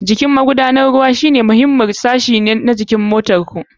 Jikin magudanar ruwa wani muhimmin sashi ne na tsarin man motar ku.